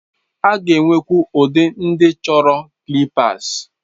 A ga-enwekwu ụdị ndị chọrọ clippers.